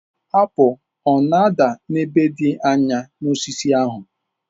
Apụl ọ na-ada n'ebe dị anya n'osisi ahụ?